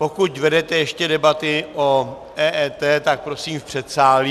Pokud vedete ještě debaty o EET, tak prosím v předsálí.